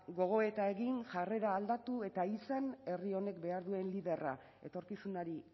gogoeta egin jarrera aldatu eta izan herri honek behar duen liderra etorkizunari